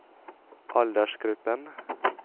aldersgruppen